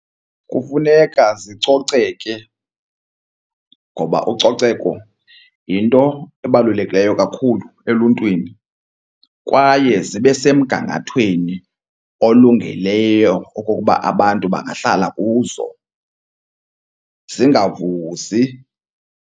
Kufuneka zicoceke ngoba ucoceko yinto ebalulekileyo kakhulu eluntwini kwaye zibe semgangathweni olungeleyo okokuba abantu bangahlala kuzo, zingavuzi.